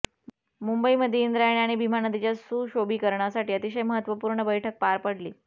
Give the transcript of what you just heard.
मुंबईमध्ये इंद्रायणी आणि भीमा नदीच्या सुशोभीकरणासाठी अतिशय महत्त्वपूर्ण बैठक पार पडली